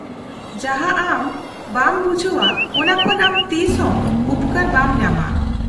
-ᱡᱟᱦᱟᱸ ᱟᱢ ᱵᱟᱝ ᱵᱩᱡᱷᱟᱹᱣᱼᱟ, ᱚᱱᱟ ᱠᱷᱚᱱ ᱟᱢ ᱛᱤᱥᱦᱚᱸ ᱩᱯᱠᱟᱹᱨ ᱵᱟᱢ ᱧᱟᱢᱟ ᱾